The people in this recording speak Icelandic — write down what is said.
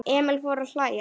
Emil fór að hlæja.